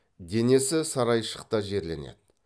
денесі сарайшықта жерленеді